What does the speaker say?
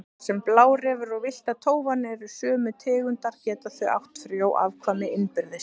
Þar sem blárefir og villta tófan eru sömu tegundar geta þau átt frjó afkvæmi innbyrðis.